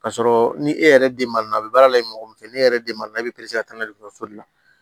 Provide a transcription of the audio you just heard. K'a sɔrɔ ni e yɛrɛ den man na a bɛ baara la i bɛ mɔgɔ min fɛ ne yɛrɛ den ma na i bɛ ka taa n'a ye dɔgɔtɔrɔso la